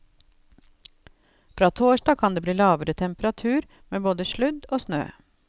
Fra torsdag kan det bli lavere temperatur, med både sludd og snø.